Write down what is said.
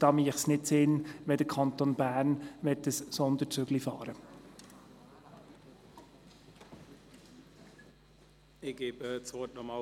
So macht es wenig Sinn, dass der Kanton Bern eine Sonderregelung einführt.